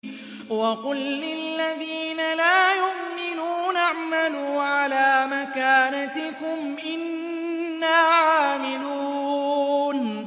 وَقُل لِّلَّذِينَ لَا يُؤْمِنُونَ اعْمَلُوا عَلَىٰ مَكَانَتِكُمْ إِنَّا عَامِلُونَ